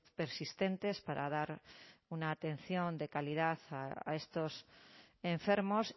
persistentes para dar una atención de calidad a estos enfermos